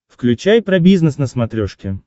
включай про бизнес на смотрешке